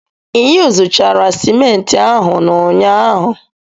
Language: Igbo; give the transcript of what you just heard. Ị yuzuchara simenti ahụ n'ụnyaahụ?